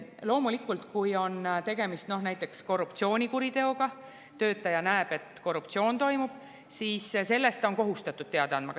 Loomulikult, kui on tegemist näiteks korruptsioonikuriteoga – töötaja näeb, et korruptsioon toimub –, siis sellest ta on kohustatud teada andma.